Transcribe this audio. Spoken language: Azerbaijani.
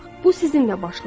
Bu sizinlə başlayır.